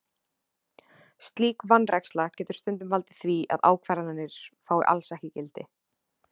Slík vanræksla getur stundum valdið því að ákvarðanir fái alls ekki gildi.